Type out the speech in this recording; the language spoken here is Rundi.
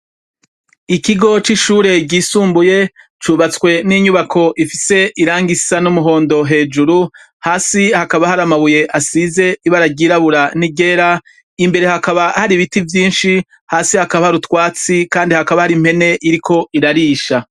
Ikigo c'ishure ryisumbuye cubatswe n'inyubako ifise irangisa risa n'umuhondo hejuru hasi hakaba hari amabuye asize ibara ryirabura n'iryera imbere hakaba hari ibiti vyinshi hasi hakaba hari utwatsi kandi hakaba hari mpene iriko irarisha.